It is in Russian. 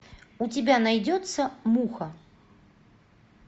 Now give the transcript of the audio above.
у тебя найдется муха